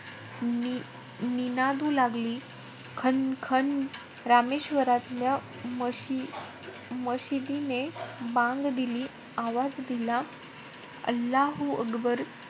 नि~ निनादू लागली. खन-खन. रामेश्वरातल्या मशि~ मशिदीने बांग दिली, आवाज दिला .